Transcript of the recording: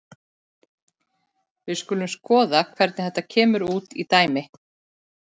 Við skulum skoða hvernig þetta kemur út í dæmi.